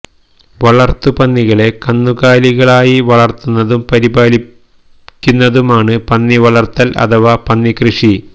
വളർത്തു പന്നികളെ കന്നുകാലികളായി വളർത്തുന്നതും പരിപാലിക്കുന്നതുമാണ് പന്നി വളർത്തൽ അഥവാ പന്നി കൃഷി